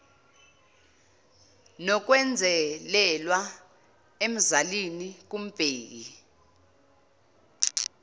nokwenzelelwa emzalini kumbheki